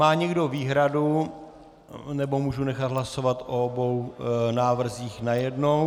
Má někdo výhradu, nebo můžu nechat hlasovat o obou návrzích najednou?